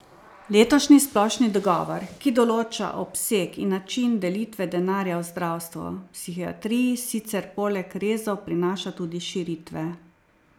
Letošnji splošni dogovor, ki določa obseg in način delitve denarja v zdravstvu, psihiatriji sicer poleg rezov prinaša tudi širitve.